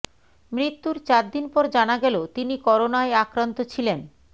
মৃত্যুর চারদিন পর জানা গেল তিনি করোনায় আক্রান্ত ছিলেন